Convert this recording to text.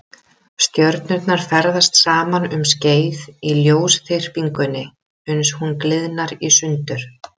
Stjörnurnar ferðast saman um skeið í lausþyrpingunni uns hún gliðnar í sundur.